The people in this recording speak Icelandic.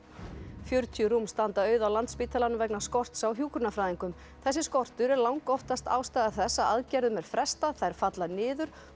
fjörutíu rúm standa auð á Landspítalanum vegna skorts á hjúkrunarfræðingum þessi skortur er langoftast ástæða þess að aðgerðum er frestað þær falla niður og